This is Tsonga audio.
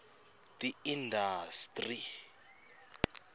tiindastri